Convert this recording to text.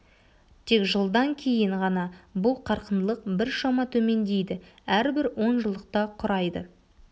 тек жылдан кейін ғана бұл қарқындылық біршама төмендейді әрбір он жылдықта құрайды